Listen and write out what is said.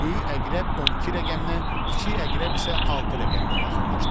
Böyük əqrəb 12 rəqəminə, kiçik əqrəb isə 6 rəqəminə yaxınlaşdı.